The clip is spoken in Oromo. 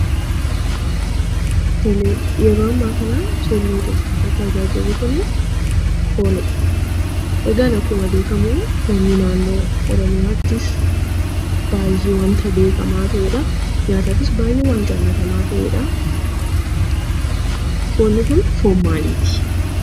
Yeroo ammaa kanatti suuraa nuti as gubbaa irratti argaa jirru foonii dha. Akkuma baayyee beekamu foonni naannoo Oromiyaatti kan beekamuu fi nyaataafis baayyee kan jaallatamuu dha. Foonni Kun foon maaliiti?